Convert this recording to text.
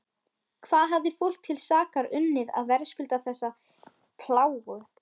Hvað hafði fólk til sakar unnið að verðskulda þessa plágu?